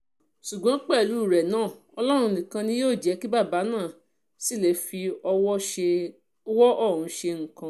ṣùgbọ́n pẹ̀lú ẹ̀ náà ọlọ́run nìkan ni yóò jẹ́ kí jẹ́ kí bàbá náà ṣì lè fọwọ́ ọ̀hún ṣe nǹkan